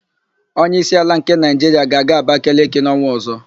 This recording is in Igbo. Onyeísí ala nke Naịjiria ga-aga Abakaliki n''ọnwa ọ̀zọ́.